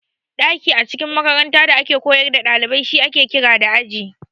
Daki a cikin makaranta da ake koyar da dalibai shi ake kira da Aji.